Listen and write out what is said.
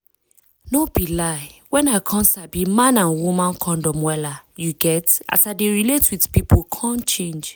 no be lie when i come sabi man and woman condom wella you get as i dey relate with pipu come change